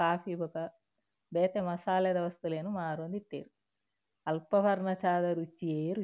Coffee ಬೊಕ ಬೇತೆ ಮಸಾಲೆದ ವಸ್ತುಲೆನ್ ಮಾರೊಂದು ಇತ್ತೆರ್ ಅಲ್ಪ ಪರ್ನ ಚಾದ ರುಚಿಯೇ ರುಚಿ.